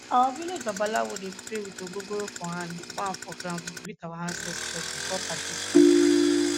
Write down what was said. our village babalawo dey pray with ogogoro for hand dey pour am for ground to greet our ancestors before party start